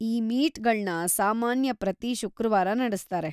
ಈ ಮೀಟ್‌ಗಳ್ನ ಸಾಮಾನ್ಯ ಪ್ರತೀ ಶುಕ್ರವಾರ ನಡೆಸ್ತಾರೆ.